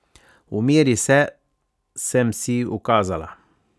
Umiri se, sem si ukazala.